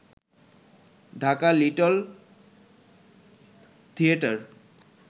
Dhaka little theatre